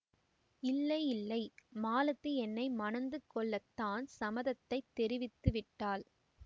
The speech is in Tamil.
இல்லை இல்லை மாலதி என்னை மணந்து கொள்ள தான் சம்மதத்தைத் தெரிவித்து விட்டாள்